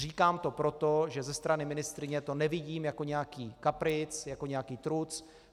Říkám to proto, že ze strany ministryně to nevidím jako nějaký kapric, jako nějaký truc.